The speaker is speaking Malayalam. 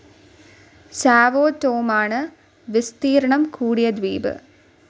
സാവോ ടോമാണ് വിസ്തീർണ്ണം കൂടിയ ദ്വീപ്.